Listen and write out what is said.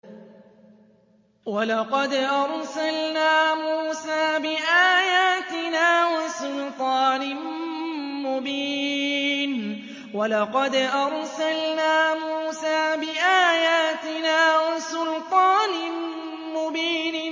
وَلَقَدْ أَرْسَلْنَا مُوسَىٰ بِآيَاتِنَا وَسُلْطَانٍ مُّبِينٍ